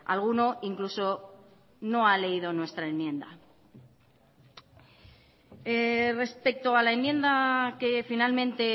alguno incluso no ha leído nuestra enmienda respecto a la enmienda que finalmente